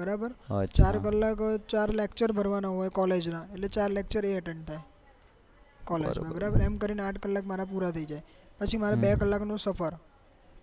બરાબર ચાર કલાક ચાર lecture ભરવાના હોય કોલેજ ના એટલે ચાર LECTURE એ ATTEND થાય બરાબર એમ કરી કોલેજ ના આઠ કલાક મારા પુરા થઇ જાય પછી મારે બે કલાક નું સફર